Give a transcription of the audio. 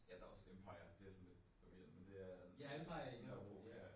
Ja der også Empire. Det er sådan lidt forvirrende men det er Nørrebro ja ja